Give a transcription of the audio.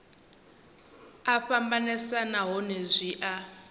a fhambanesa nahone zwi a